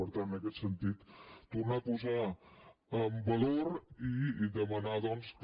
per tant en aquest sentit tornar a posar en valor i demanar doncs que